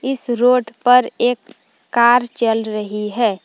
इस रोड पर एक कार चल रही है।